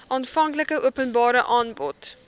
aanvanklike openbare aanbod